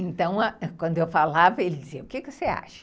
Então, quando eu falava, ele dizia, o que você acha?